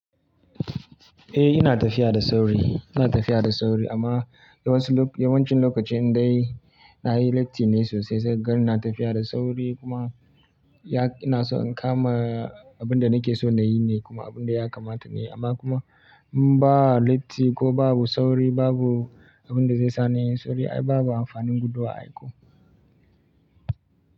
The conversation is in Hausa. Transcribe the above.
Eh ina tafiya da sauri, ina tafiya da sauri amma yawansu lo yawancin lokaci in dai na yi latti ne sosai zan ga ina tafiya da sauri kuma ina so in kama abin da nake so na yi ne kuma abin da ya kamata ne amma kuma in ba latti ko babu sauri babu abin da zai sa ni in sauri ai babu amfanin guduwa ai ko.